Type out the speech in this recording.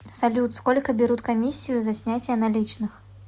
салют сколько берут комиссию за снятие наличных